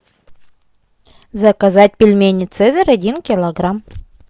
заказать пельмени цезарь один килограмм